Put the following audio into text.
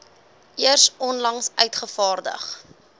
eers onlangs uitgevaardig